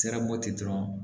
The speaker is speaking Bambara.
Sirabɔti dɔrɔn